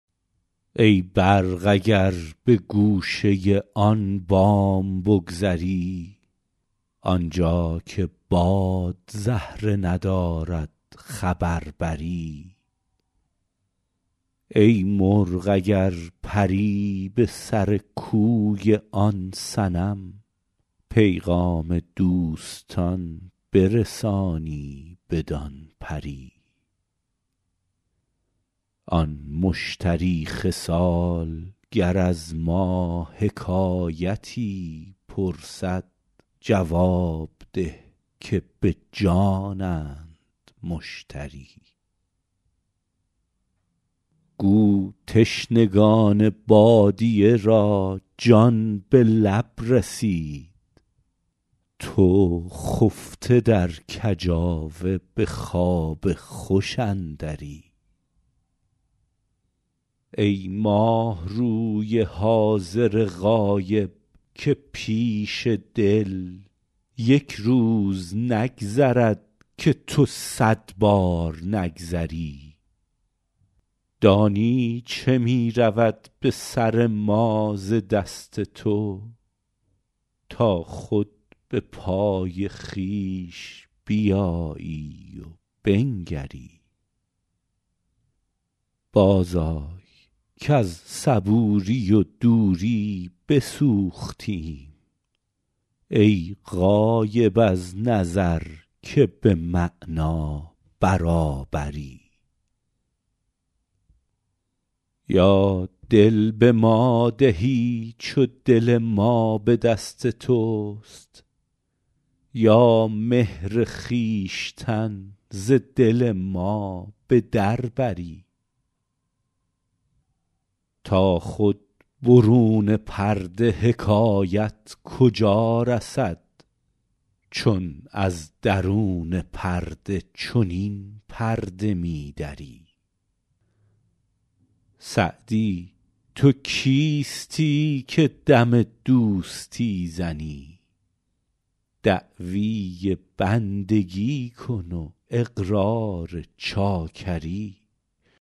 ای برق اگر به گوشه آن بام بگذری آنجا که باد زهره ندارد خبر بری ای مرغ اگر پری به سر کوی آن صنم پیغام دوستان برسانی بدان پری آن مشتری خصال گر از ما حکایتی پرسد جواب ده که به جانند مشتری گو تشنگان بادیه را جان به لب رسید تو خفته در کجاوه به خواب خوش اندری ای ماهروی حاضر غایب که پیش دل یک روز نگذرد که تو صد بار نگذری دانی چه می رود به سر ما ز دست تو تا خود به پای خویش بیایی و بنگری بازآی کز صبوری و دوری بسوختیم ای غایب از نظر که به معنی برابری یا دل به ما دهی چو دل ما به دست توست یا مهر خویشتن ز دل ما به در بری تا خود برون پرده حکایت کجا رسد چون از درون پرده چنین پرده می دری سعدی تو کیستی که دم دوستی زنی دعوی بندگی کن و اقرار چاکری